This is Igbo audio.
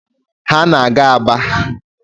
Ha na-aga Aba.